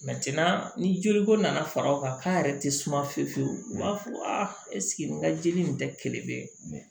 ni joli ko nana far'a kan k'a yɛrɛ tɛ suma fiyewu fiyewu u b'a fɔ ɛseke n ka jeli in tɛ kelen bɛ mɛn